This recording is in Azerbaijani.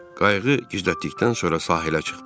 Qayığı gizlətdikdən sonra sahilə çıxdım.